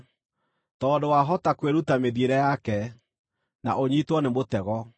tondũ wahota kwĩruta mĩthiĩre yake, na ũnyiitwo nĩ mũtego.